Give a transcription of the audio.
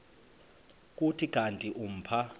kuthi kanti umpha